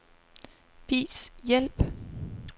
Vis hjælp.